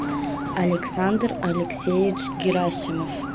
александр алексеевич герасимов